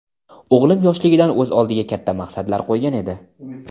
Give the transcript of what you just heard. O‘g‘lim yoshligidan o‘z oldiga katta maqsadlar qo‘ygan edi.